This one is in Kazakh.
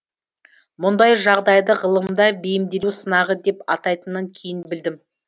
мұндай жағдайды ғылымда бейімделу сынағы деп атайтынын кейін білдім